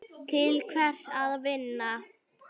Til hvers að vinna?